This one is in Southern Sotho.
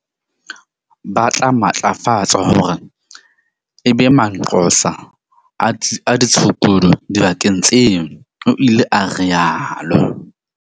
Ba tla matlafatswa hore e be manqosa a ditshukudu dibakeng tseo, o ile a rialo.